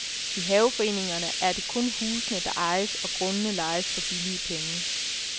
I haveforeningerne er det kun husene, der ejes, og grundene lejes for en billig penge.